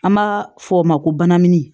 An b'a fɔ o ma ko banamini